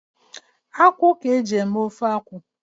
Akwụ ka eji eme ofe akwụ